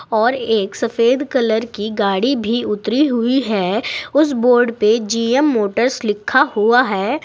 और एक सफेद कलर की गाड़ी भी उतरी हुई है उस बोर्ड पे जी_एम मोटर्स लिखा हुआ है।